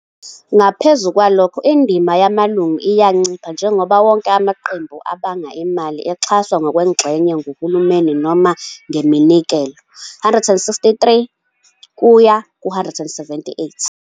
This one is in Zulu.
Ngaphezu kwalokho, indima yamalungu iyancipha njengoba wonke amaqembu abamba imali exhaswa ngokwengxenye nguhulumeni noma ngeminikelo. 163-178.